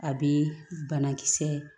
A bɛ banakisɛ